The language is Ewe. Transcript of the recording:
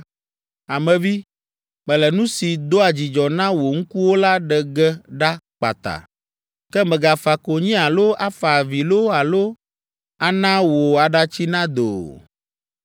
“Ame vi, mele nu si doa dzidzɔ na wò ŋkuwo la ɖe ge ɖa kpata. Ke mègafa konyi alo afa avi loo alo ana wò aɖatsi nado o.